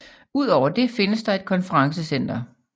Udover det findes der et konferencecenter